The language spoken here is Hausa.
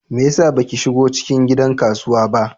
Me yasa baki shigo cikin gidan kasuwa ba?